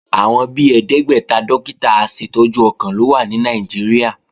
Àwọn bi ẹ̀ẹ́dẹ́gbẹ́ta dókítà aṣètọ́jú ọkàn ló wà ní Nàìjíríà